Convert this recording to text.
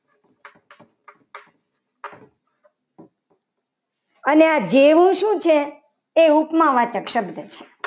અને આ જેવું શું છે. એ ઉપમા વાચક શબ્દ છે.